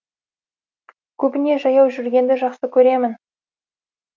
көбіне жаяу жүргенді жақсы көремін